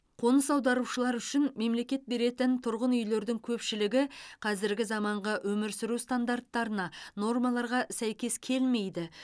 қоныс аударушылар үшін мемлекет беретін тұрғын үйлердің көпшілігі қазіргі заманғы өмір сүру стандарттарына нормаларға сәйкес келмейді